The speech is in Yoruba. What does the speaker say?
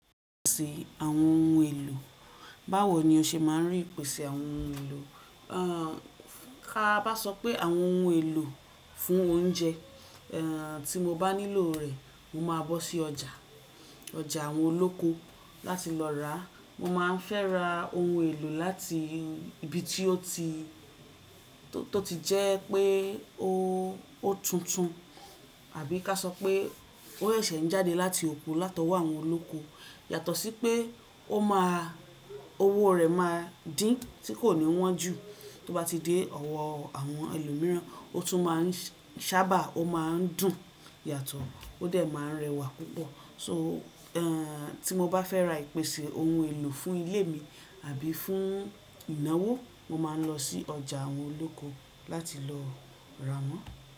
Ìpèsè àwọn ohun èlò. Báwo ni o ṣe máa ń rí ìpèsè àwọn ohun èlò? Ka bá sọ pé àwọn ohun èlò fún oúnjẹ, eh tí mo bá nílò rẹ̀, mo máa bọ́ sí ọjà, ọjà àwọn olóko láti lọ ràá. Mo máa ń fẹ́ ra ohun èlò láti ibi tí ó ti, tó ti jẹ́ pé ó tuntun àbí ká sọ pé ó seṣẹ̀ n jáde láti oko látọwọ́ àwọn olóko. Yàtọ̀ sí pé ó máa owó rẹ̀ máa dín tí kò ní wọ́n jù tó bá ti dé ọwọ́ àwọn ẹlòmíràn. Ó tún máa ń sábà ó máa ń dùn yàtọ̀ ó dẹ̀ máa ń rẹwà púpọ̀. So eh tí mo bá fẹ́ ra ìpèsè ohun èlò fún ilé mi àbí fún ìnáwó, mo máa ń lọ sí ọjà àwọn olóko láti lọ ra wọ́n.